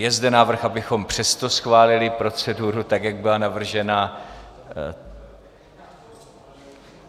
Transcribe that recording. Je zde návrh, abychom přesto schválili proceduru, tak jak byla navržena.